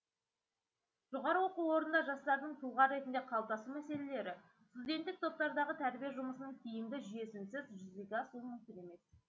жоғары оқу орнында жастардың тұлға ретінде қалыптасу мәселелері студенттік топтардағы тәрбие жұмысының тиімді жүйесінсіз жүзеге асуы мүмкін емес